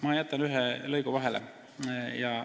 Ma jätan ühe lõigu vahele ja ...